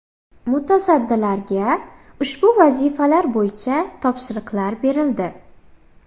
Mutasaddilarga ushbu vazifalar bo‘yicha topshiriqlar berildi.